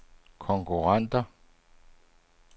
konkurrenter